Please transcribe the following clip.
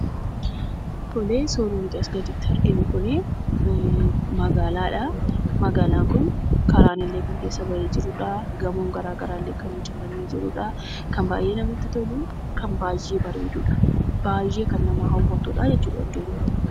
Tole suurri asiin gaditti arginu kun magaalaadha. Magaalaan kun karaan kan keessa bahee jirudha. Gamoon gara garaallee kan ijaarramee jirudha. Baay'ee kan namatti toludha, baay'ee kan nama haawwatudha jechuudha bakki Kun.